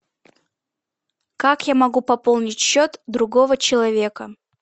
как я могу пополнить счет другого человека